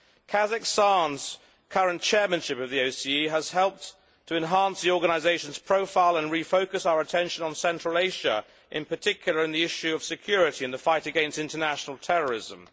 Kazakhstan's current chairmanship of the OSCE has helped to enhance the organisation's profile and refocus our attention on Central Asia and, in particular, on the issue of security and the fight against international terrorism.